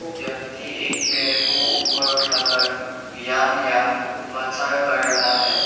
व्यक्ति एक पैर को ऊपर उठाकर व्यायाम या उपचार कर रहा है।